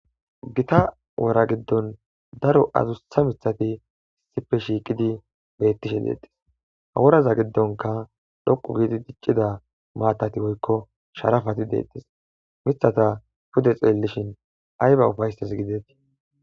gita wora giddon daro adustha mithati isipe shiiqidi bettishe deetes haworaza giddonka dhoqu giidi diccida maatati woykko sharafati deettis mithata pude xeellishin ay ba ufayses gidetii